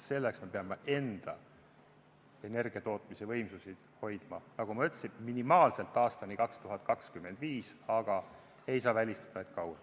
Selleks me peame enda energiatootmisvõimsusi hoidma, nagu ma ütlesin, minimaalselt aastani 2025, aga ei saa välistada, et kauem.